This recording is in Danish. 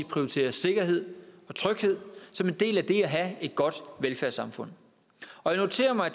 prioriterer sikkerhed og tryghed som en del af det at have et godt velfærdssamfund og jeg noterer mig at